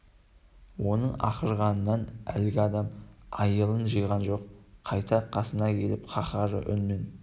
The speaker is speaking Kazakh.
оның ақырғанынан әлгі адам айылын жиған жоқ қайта қасына келіп қаһарлы үнмен